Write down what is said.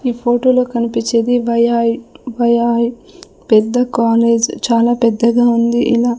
ఈ ఫోటో లో కనిపిచ్చేది పెద్ద కాలేజ్ చాలా పెద్దగా ఉంది ఇలా--